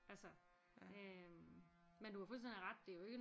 Altså øh men du har fuldstændig ret det er jo ikke